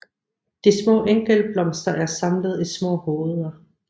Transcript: De små enkeltblomster er samlet i små hoveder